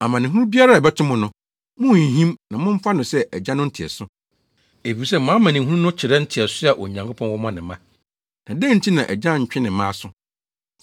Amanehunu biara a ɛbɛto mo no, munnhinhim na momfa no sɛ Agya no nteɛso, efisɛ mo amanehunu no kyerɛ nteɛso a Onyankopɔn wɔ ma ne mma. Na dɛn nti na agya ntwe ne mma aso?